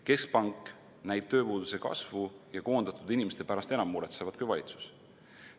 Keskpank näib tööpuuduse kasvu ja koondatud inimeste pärast enam muretsevat kui valitsus.